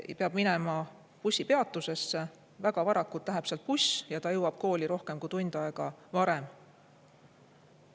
Laps peab minema bussipeatusesse, väga varakult läheb sealt buss ja ta jõuab kooli rohkem kui tund aega varem.